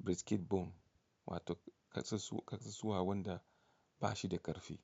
brisket bone wato kasusuwa wanda ba shi da ƙarfi.